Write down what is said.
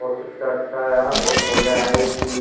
और कितना अच्छा है यार बहुत बढ़िया है ये चीज।